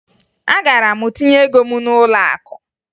Agara m tinye ego m n'ụlọakụ